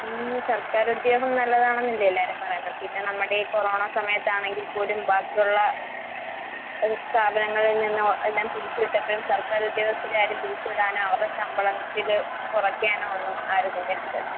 ഉം സർക്കാരുദ്യോഗം നല്ലതാണെന്നല്ലേ എല്ലാരും പറയുന്നെ? പിന്നെ നമ്മടെ ഈ കൊറോണ സമയത്താണെങ്കിൽ പോലും ബാക്കിയൊള്ള ഏഹ് സ്ഥാപനങ്ങളിൽ നിന്നും എല്ലാം പിരിച്ച് വിട്ടപ്പഴും സർക്കാരുദ്യോഗസ്ഥരെ ആരും പിരിച്ച് വിടാനോ അവർടെ ശമ്പളത്തില് കൊറയ്ക്കാനോ ഒന്നും ആരും നിന്നിട്ടില്ലല്ലോ?